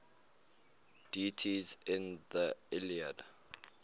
deities in the iliad